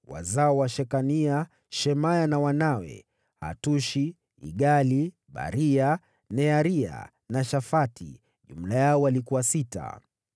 Wazao wa Shekania: Shemaya na wanawe: Hatushi, Igali, Baria, Nearia na Shafati; jumla yao walikuwa sita.